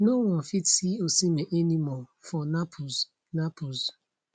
no one fit see osimhen anymore for naples naples